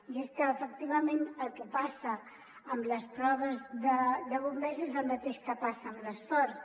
i és que efectivament el que passa en les proves de bom·bers és el mateix que passa en l’esport